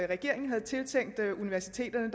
regeringen havde tiltænkt universiteterne